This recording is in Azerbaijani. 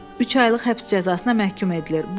Üç aylıq həbs cəzasına məhkum edilir.